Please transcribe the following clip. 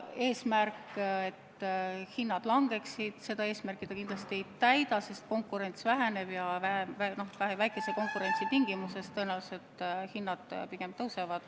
Eesmärki, et hinnad langeksid, see kindlasti ei täida, sest konkurents väheneb ja väikese konkurentsi tingimustes tõenäoliselt hinnad pigem tõusevad.